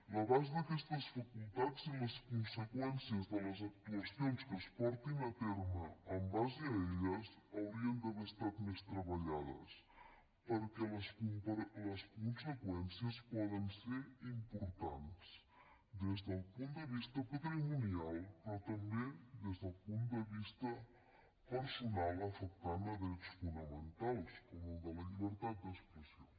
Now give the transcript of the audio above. l’abast d’aquestes facultats i les conseqüències de les actuacions que es portin a terme en base a elles haurien d’haver estat més treballades perquè les conseqüències poden ser importants des del punt de vista patrimonial però també des del punt de vista personal afectant drets fonamentals com el de la llibertat d’expressió